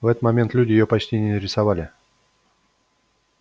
в этот момент люди её почти не рисовали